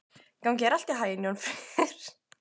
Gangi þér allt í haginn, Jónfríður.